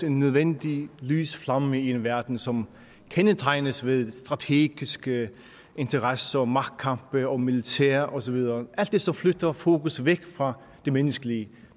en nødvendig lys flamme i en verden som kendetegnes ved strategiske interesser magtkampe militær og så videre alt det som flytter fokus væk fra det menneskelige